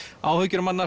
áhyggjur